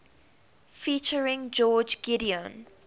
featuring george gideon